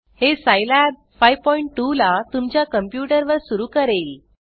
हे सिलाब 52 ला तुमच्या कंप्यूटर वर सुरू करेल